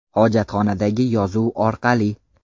Hojatxonadagi yozuv orqali.